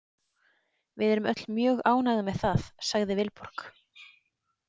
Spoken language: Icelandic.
Við erum öll mjög ánægð með það, sagði Vilborg.